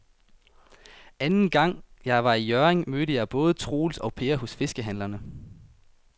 Anden gang jeg var i Hjørring, mødte jeg både Troels og Per hos fiskehandlerne.